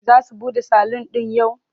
Za su buɗe salun ɗin yau?